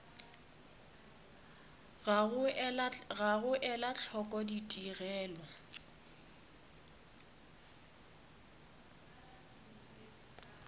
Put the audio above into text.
ga go ela hloko ditigelo